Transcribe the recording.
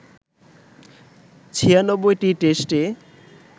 ৯৬টি টেস্টে